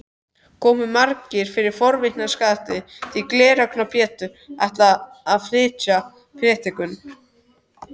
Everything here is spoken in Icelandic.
Komu margir fyrir forvitnisakir því Gleraugna-Pétur ætlaði að flytja prédikun.